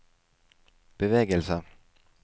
bevegelse